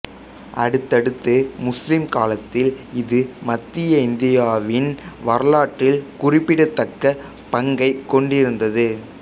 அடுத்தடுத்த முஸ்லிம் காலத்தில் இது மத்திய இந்தியாவின் வரலாற்றில் குறிப்பிடத்தக்க பங்கைக் கொண்டிருந்தது